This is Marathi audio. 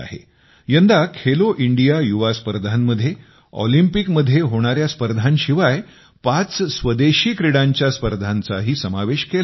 यंदा खेलो इंडिया युवा स्पर्धांमध्ये ऑलिपिंकमध्ये होणाया स्पर्धांशिवाय पाच स्वदेशी क्रीडांच्या स्पर्धांचाही समावेश केला होता